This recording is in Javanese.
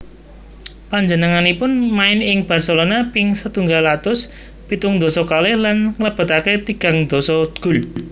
Panjenenganipun main ing Barcelona ping setunggal atus pitung dasa kalih lan nglebetake tigang dasa gol